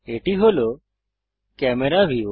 এটি camera view